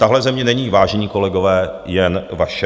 Tahle země není, vážení kolegové, jen vaše.